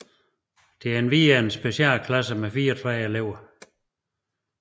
Der er endvidere en specialklasse med 34 elever